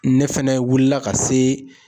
Ne fɛnɛ wulila ka se